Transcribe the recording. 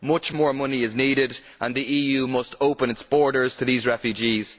Much more money is needed and the EU must open its borders to these refugees.